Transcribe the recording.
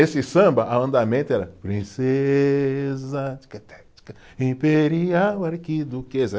Esse samba, a andamento era Princesa, imperial arquiduquesa.